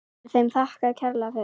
Er þeim þakkað kærlega fyrir.